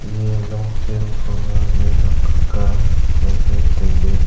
eya longchen khoma mihuak aga nganley tailey.